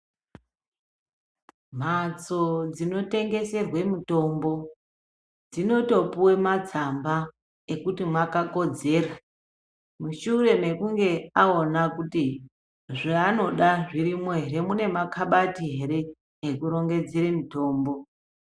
Mhatso dzinotengeserwa mitombo dzinotopuwa matsamba ekuti mwakakodzera. Mushure mwekunge aona kuti zvaanoda zvirimwo ere. Mune makabati ere ekurongedzera mutombo.